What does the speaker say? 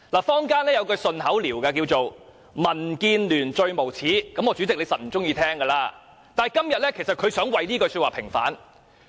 坊間有一句"順口溜"，叫作"民建聯最無耻"——代理主席一定不喜歡聽——但今天，其實他想為這句說話平反。